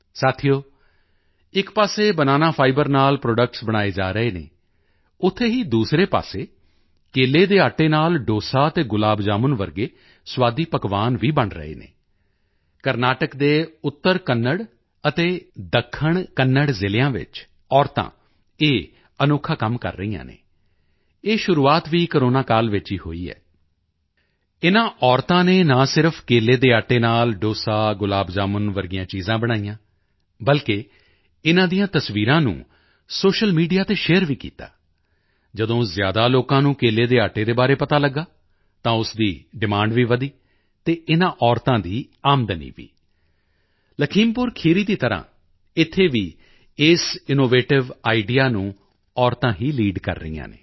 ਸਾਥੀਓ ਇੱਕ ਪਾਸੇ ਬਣਾਨਾ ਫਾਈਬਰ ਨਾਲ ਪ੍ਰੋਡਕਟਸ ਬਣਾਏ ਜਾ ਰਹੇ ਹਨ ਉੱਥੇ ਹੀ ਦੂਸਰੇ ਪਾਸੇ ਕੇਲੇ ਦੇ ਆਟੇ ਨਾਲ ਡੋਸਾ ਅਤੇ ਗੁਲਾਬ ਜਾਮੁਨ ਵਰਗੇ ਸਵਾਦੀ ਪਕਵਾਨ ਵੀ ਬਣ ਰਹੇ ਹਨ ਕਰਨਾਟਕ ਦੇ ਉੱਤਰ ਕੰਨੜ ਅਤੇ ਦੱਖਣ ਕੰਨੜ ਜ਼ਿਲ੍ਹਿਆਂ ਵਿੱਚ ਔਰਤਾਂ ਇਹ ਅਨੋਖਾ ਕੰਮ ਕਰ ਰਹੀਆਂ ਹਨ ਇਹ ਸ਼ੁਰੂਆਤ ਵੀ ਕੋਰੋਨਾ ਕਾਲ ਵਿੱਚ ਹੀ ਹੋਈ ਹੈ ਇਨ੍ਹਾਂ ਔਰਤਾਂ ਨੇ ਨਾ ਸਿਰਫ ਕੇਲੇ ਦੇ ਆਟੇ ਨਾਲ ਡੋਸਾ ਗੁਲਾਬ ਜਾਮੁਨ ਵਰਗੀਆਂ ਚੀਜ਼ਾਂ ਬਣਾਈਆਂ ਬਲਕਿ ਇਨ੍ਹਾਂ ਦੀਆਂ ਤਸਵੀਰਾਂ ਨੂੰ ਸੋਸ਼ੀਅਲ ਮੀਡੀਆ ਤੇ ਸ਼ੇਅਰ ਵੀ ਕੀਤਾ ਹੈ ਜਦੋਂ ਜ਼ਿਆਦਾ ਲੋਕਾਂ ਨੂੰ ਕੇਲੇ ਦੇ ਆਟੇ ਦੇ ਬਾਰੇ ਪਤਾ ਲਗਿਆ ਤਾਂ ਉਸ ਦੀ ਡਿਮਾਂਡ ਵੀ ਵਧੀ ਤੇ ਇਨ੍ਹਾਂ ਔਰਤਾਂ ਦੀ ਆਮਦਨੀ ਵੀ ਲਖੀਮਪੁਰ ਖੀਰੀ ਦੀ ਤਰ੍ਹਾਂ ਇੱਥੇ ਵੀ ਇਸ ਇਨੋਵੇਟਿਵ ਆਈਡੀਈਏ ਨੂੰ ਔਰਤਾਂ ਹੀ ਲੀਡ ਕਰ ਰਹੀਆਂ ਹਨ